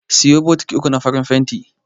Siyo bokiti uku na farin fenti.